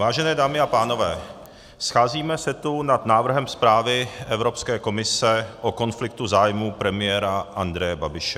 Vážené dámy a pánové, scházíme se tu nad návrhem zprávy Evropské komise o konfliktu zájmů premiéra Andreje Babiše.